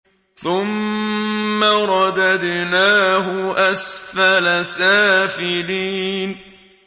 ثُمَّ رَدَدْنَاهُ أَسْفَلَ سَافِلِينَ